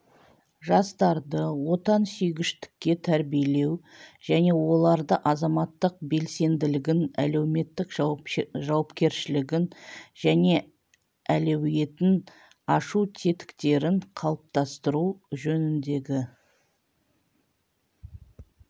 жастарды отансүйгіштікке тәрбиелеу және олардың азаматтық белсенділігін әлеуметтік жауапкершілігін және әлеуетін ашу тетіктерін қалыптастыру жөніндегі